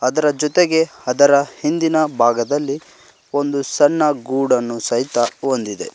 ಅದರ ಜೊತೆಗೆ ಅದರ ಹಿಂದಿನ ಭಾಗದಲ್ಲಿ ಒಂದು ಸಣ್ಣ ಗೂಡನ್ನು ಸಹಿತ ಹೊಂದಿದೆ.